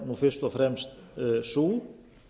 er fyrst og fremst sú